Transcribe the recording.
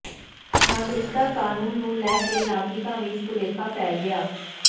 ਨਾਗਰਿਕਤਾ ਕਾਨੂੰਨ ਨੂੰ ਲੈ ਕੇ ਨਾਗਰਿਕਾਂ ਵਿੱਚ ਭੁਲੇਖਾ ਫੈਲ ਗਿਆ